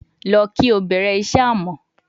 Lọ ki o bẹrẹ iṣẹ amọ